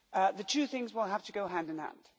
The two things will have to go hand in hand.